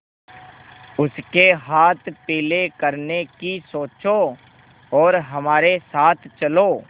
उसके हाथ पीले करने की सोचो और हमारे साथ चलो